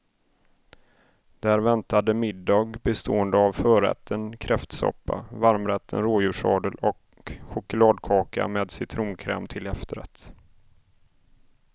Där väntade middag bestående av förrätten kräftsoppa, varmrätten rådjurssadel och chokladkaka med citronkräm till efterrätt.